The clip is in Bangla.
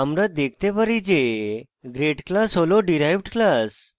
আমরা দেখতে পারি যে grade class হল derived class